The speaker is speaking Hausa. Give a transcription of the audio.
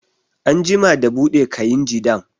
An jima da buɗe kainji dam